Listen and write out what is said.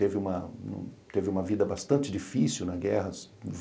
Teve uma teve uma vida bastante difícil na guerra.